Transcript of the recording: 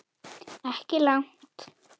Ekki langt.